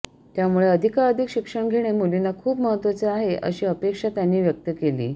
त्यामुळे अधिकाधिक शिक्षण घेणे मुलींना खूप महत्वाचे आहे अशी अपेक्षा त्यांनी व्यक्त केली